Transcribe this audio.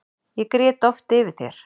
Ég grét oft yfir þér.